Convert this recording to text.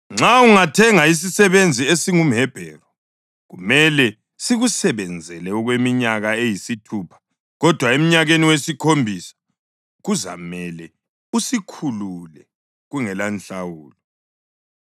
“Nxa ungathenga isisebenzi esingumHebheru kumele sikusebenzele okweminyaka eyisithupha. Kodwa emnyakeni wesikhombisa kuzamele usikhulule kungelanhlawulo.